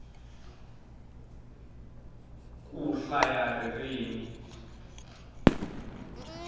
ku hlaya ririmi